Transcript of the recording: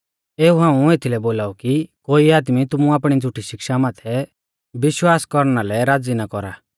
एऊ हाऊं एथीलै बोलाऊ कि कोई आदमी तुमु आपणी झ़ुठी शिक्षा माथै विश्वास कौरना लै राज़ी ना कौरा